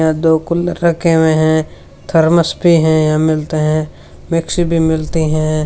यहां दो कूलर रखे हुए हैं थरमस भी हैं मिलते हैं मिक्सी भी मिलती हैं।